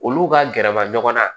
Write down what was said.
Olu ka gɛrɛba ɲɔgɔnna